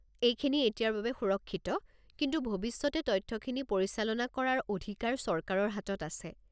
এইখিনি এতিয়াৰ বাবে সুৰক্ষিত, কিন্তু ভৱিষ্যতে তথ্যখিনি পৰিচালনা কৰাৰ অধিকাৰ চৰকাৰৰ হাতত আছে।